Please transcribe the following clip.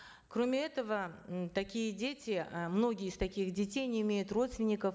кроме этого м такие дети э многие из таких детей не имеют родственников